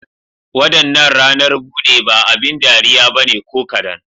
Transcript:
Wadannan ranar bude ba abin dariya ba ne ko kadan.